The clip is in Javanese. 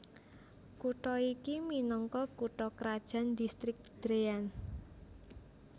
Kutha iki minangka kutha krajan Distrik Dréan